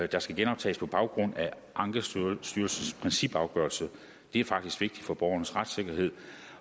der skal genoptages på baggrund af ankestyrelsens principafgørelse det er faktisk vigtigt for borgernes retssikkerhed